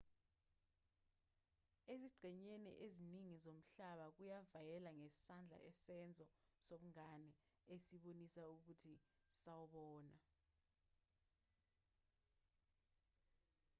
ezingxenyeni eziningi zomhlaba ukuvayela ngesandla isenzo sobungane esibonisa ukuthi sawubona